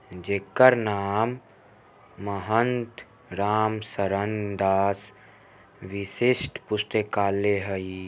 जेकर नाम महंत राम सरण दास विशिष्ठ पुस्तकालय हई ।